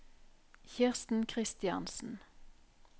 Kirsten Christiansen